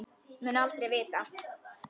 Mun aldrei vita.